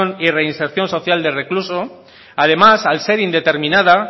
y reinserción social del recluso además al ser indeterminada